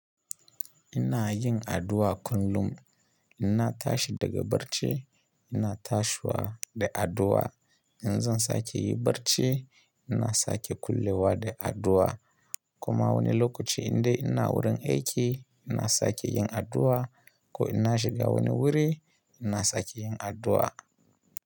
Ina yin addu'a kullum. Idan na tashi daga barci, ina tashi ne da addu'a. Idan zan sake yin barci, ina sake kullewa da addu'a. Kuma wani lokaci indai ina wurin aiki ina sake yin addu'a ko ina shiga wani wuri ina sake yin addu'a.